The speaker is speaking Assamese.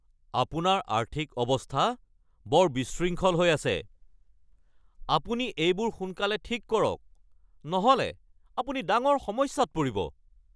আপোনাৰ আৰ্থিক অৱস্থা বৰ বিশৃংখল হৈ আছে! আপুনি এইবোৰ সোনকালে ঠিক কৰক নহ'লে আপুনি ডাঙৰ সমস্যাত পৰিব।